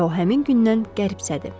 və o həmin gündən qəribsədi.